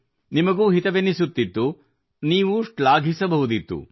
ನಿಮಗೂ ಹಿತವೆನಿಸುತ್ತಿತ್ತು ನೀವೂ ಶ್ಲಾಘಿಸಬಹುದಿತ್ತು